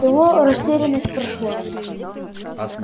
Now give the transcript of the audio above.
его растерянность прошла